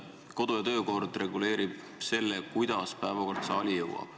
Kodu- ja töökord reguleerib, kuidas päevakord saali jõuab.